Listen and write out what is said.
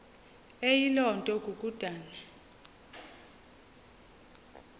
eyiloo nto kukodana